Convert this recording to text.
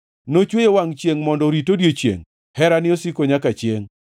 Nochweyo wangʼ chiengʼ mondo orit odiechiengʼ, Herane osiko nyaka chiengʼ.